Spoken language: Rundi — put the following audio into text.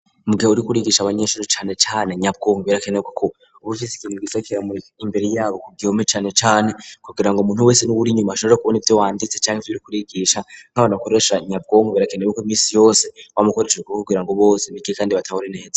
Mu gihe uri kurigisha abanyeshuri cane cane nyabwonko birakenerwa ko ubufise ikintu gisa kera muri imbere yabo ku gihome cane cane kugira ngo umuntu wese n'uwuri nyuma ashobora kubona ibyo wanditse canke ivyo uri kurigisha nkabana koresha nyabwonko birakenerwe ko imisi yose bamukoresheje guvugira ngo bose bige kandi batabone neza.